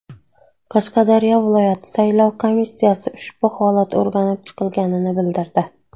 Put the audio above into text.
Qashqadaryo viloyati saylov komissiyasi ushbu holat o‘rganib chiqilganini bildirdi.